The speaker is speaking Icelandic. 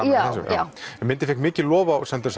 já myndin fékk mikið lof á